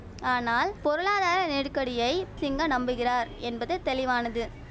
ஆனால் பொருளாதார நெடுக்கடியை சிங்க நம்புகிறார் என்பது தெளிவானது